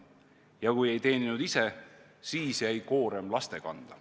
Ja kui ei teeninud ise, siis jäi koorem laste kanda.